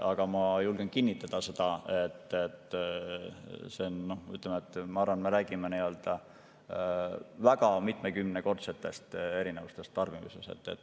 Aga ma julgen kinnitada seda, et me räägime väga mitmekümne kordsetest erinevustest tarbimises.